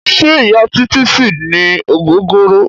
Ṣẹ́ Ìya Títí ṣì ní ògógóró.